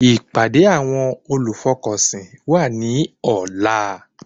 Ìpàdé àwọn olùfọkànsìn wà ní ọ̀la